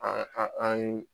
An an